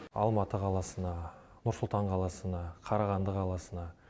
алматы қаласына нұр сұлтан қаласына қарағанды қаласына